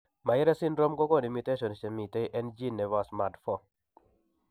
Myhre syndrome kogonu mutations chemiten en gene noton nebo SMAD4